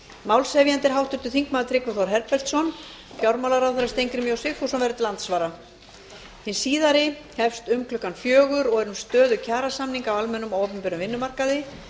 málshefjandi er háttvirtur þingmaður tryggvi þór herbertsson fjármálaráðherra steingrímur j sigfússon verður til andsvara hin síðari hefst um klukkan fjögur og er um stöðu kjarasamninga á almennum og opinberum vinnumarkaði